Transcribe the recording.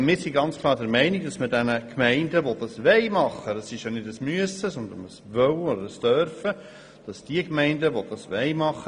Wir sind klar der Meinung, dass die Gemeinden, die das machen wollen, die Dauer in ihren Reglementen festlegen sollen.